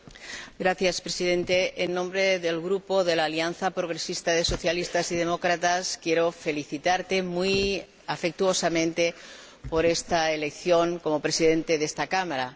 Señor Presidente, en nombre del Grupo de la Alianza Progresista de Socialistas y Demócratas quiero felicitarte muy afectuosamente por esta elección como Presidente de esta Cámara.